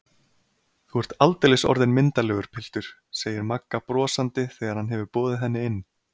Þú ert aldeilis orðinn myndarlegur piltur, segir Magga brosandi þegar hann hefur boðið henni inn.